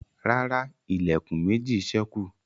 ràrá Ilẹ̀kùn méjì sẹku.